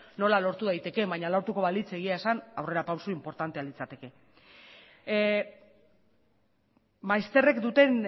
nola lortu daitekeen baina lortuko balitz egia esan aurrerapauso inportantea litzateke maizterrek duten